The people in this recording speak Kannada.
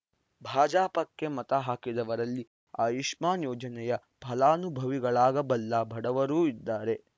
ಭಾಜಪಕ್ಕೆ ಮತ ಹಾಕಿದವರಲ್ಲಿ ಆಯುಷ್ಮಾನ್‌ ಯೋಜನೆಯ ಫಲನುಭವಿಗಳಾಗಬಲ್ಲ ಬಡವರೂ ಇದ್ದಾರೆ